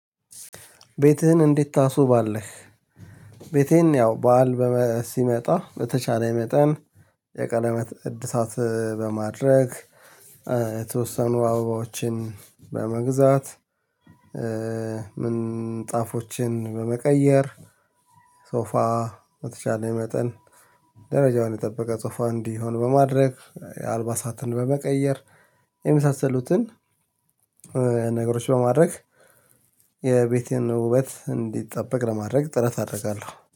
ቤትህን እንዴት ታስውባለህ? ቤቴን ያው በዓል ሲመጣ በተቻለ መጠን የቀለበት እድሳት በማድረግ የተወሰኑ አበባዎችን በመግዛት ምንጣፎችን በመቀየር ሶፋ በተቻለ መጠን ደረጃውን የጠበቀ ሶፋ እንዲሆን በማድረግ የአልባሳትን በመቀየር የመሳሰሉትን ነገሮች በማድረግ የቤቴን ውበት እንዲጠበቅ ለማድረግ ጥረት አደርጋለሁ